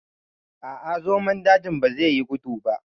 A'a, zomon daji bazai yi gudu ba.